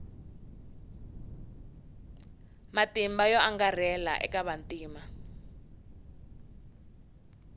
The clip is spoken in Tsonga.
matimba yo angarhela eka vantima